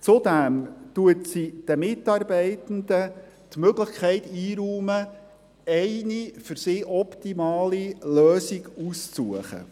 Zudem räumt sie den Mitarbeitenden die Möglichkeit ein, eine für sie optimale Lösung auszusuchen.